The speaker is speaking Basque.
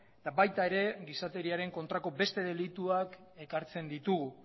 eta baita ere gizakeriaren kontrako beste delituak ekartzen ditugu